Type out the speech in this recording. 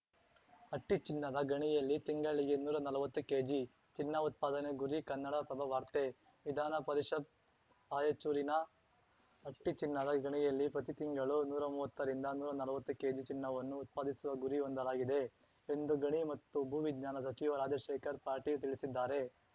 ಹಟ್ಟಿಚಿನ್ನದ ಗಣಿಯಲ್ಲಿ ತಿಂಗಳಿಗೆ ನೂರಾ ನಲ್ವತ್ತು ಕೇಜಿ ಚಿನ್ನ ಉತ್ಪಾದನೆ ಗುರಿ ಕನ್ನಡಪ್ರಭ ವಾರ್ತೆ ವಿಧಾನ ಪರಿಷತ್‌ ರಾಯಚೂರಿನ ಹಟ್ಟಿಚಿನ್ನದ ಗಣಿಯಲ್ಲಿ ಪ್ರತಿ ತಿಂಗಳು ನೂರಾ ಮುವತ್ತರಿಂದ ನೂರಾ ನಲ್ವತ್ತು ಕೆಜಿ ಚಿನ್ನವನ್ನು ಉತ್ಪಾದಿಸುವ ಗುರಿ ಹೊಂದಲಾಗಿದೆ ಎಂದು ಗಣಿ ಮತ್ತು ಭೂವಿಜ್ಞಾನ ಸಚಿವ ರಾಜಶೇಖರ್ ಪಾಟೀಲ್ ತಿಳಿಸಿದ್ದಾರೆ